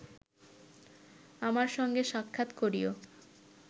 আমার সঙ্গে সাক্ষাৎ করিও